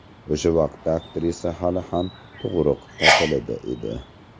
O‘sha vaqtda aktrisa hali ham tug‘ruq ta’tilida edi.